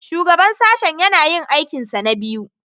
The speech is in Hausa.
Shugaban Sashen yana yin aikinsa na biyu